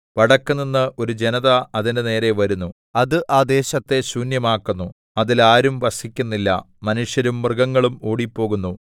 വടക്കുനിന്ന് ഒരു ജനത അതിന്റെ നേരെ വരുന്നു അത് ആ ദേശത്തെ ശൂന്യമാക്കുന്നു അതിൽ ആരും വസിക്കുന്നില്ല മനുഷ്യരും മൃഗങ്ങളും ഓടിപ്പോകുന്നു